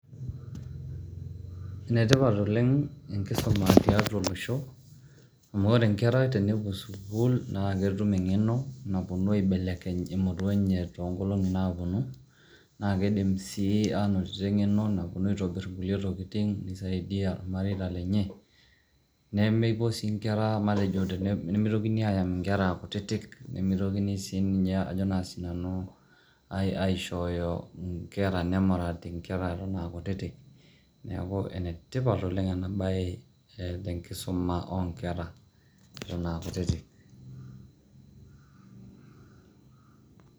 Enetipat oleng' enkisuma tiatua olosho amu ore nkera tenepuo sukuul naake etum eng'eno naponu aibekeleny emurua enye to nkolong'i naaponu, naake idim sii anotito eng'eno naponu aitobir nkulie tokitin nisaidia irmareita lenye nemepuo sii duo nkera matejo nemitokini ayam nkera aa kutitik, nemitokini sii ninye ajo naa sinanu aishoyo nkera, nemurati nkera eton a kutitik . Neeku ene tipat oleng' ena baye te nkisuma o nkera eton aa kutitik.